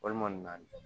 Walima